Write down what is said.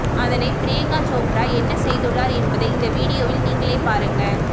அதனை ப்ரியங்கா சோப்ரா என்ன செய்துள்ளார் என்பதை இந்த வீடியோவில் நீங்களே பாருங்க